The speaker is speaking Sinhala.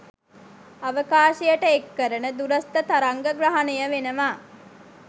අවකාශයට එක්කරන දුරස්ථ තරංග ග්‍රහණය වෙනවා